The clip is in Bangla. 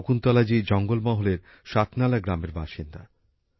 শকুন্তলা জি জঙ্গলমহলের শাতনালা গ্রামের বাসিন্দা